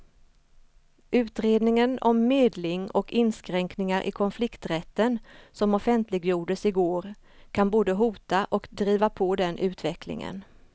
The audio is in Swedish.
Utredningen om medling och inskränkningar i konflikträtten som offentliggjordes i går kan både hota och driva på den utvecklingen.